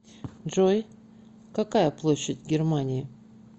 джой какая площадь германии